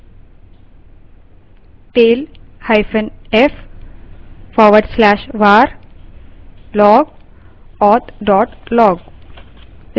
tailf/var/log/auth log